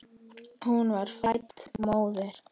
Hún var fædd móðir.